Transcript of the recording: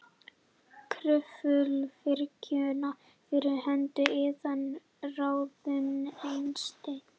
Kröfluvirkjun fyrir hönd iðnaðarráðuneytisins.